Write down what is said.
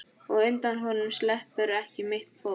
Og undan honum sleppur ekki mitt fólk.